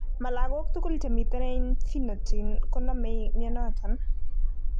Mo logok tugul che miten en phenytoin konome mionoton.